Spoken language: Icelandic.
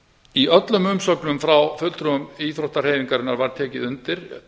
í öllum umsögnum frá fulltrúum íþróttahreyfingarinnar var tekið undir